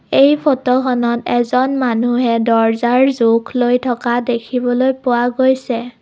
এই ফটোখনত এজন মানুহে দৰ্জ্জাৰ জোখ লৈ থকা দেখিবলৈ পোৱা গৈছে।